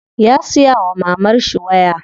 Ya siya wa mamarshi waya.